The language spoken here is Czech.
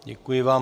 Děkuji vám.